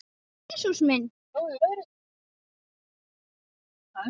Jesús minn.